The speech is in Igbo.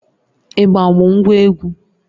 Ịgba bụ ngwa egwu